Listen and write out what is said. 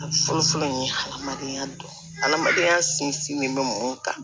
A fɔlɔ fɔlɔ nin ye hadamadenya dɔ hadamadenya sinsin be mun kan